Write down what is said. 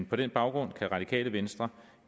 på den baggrund kan radikale venstre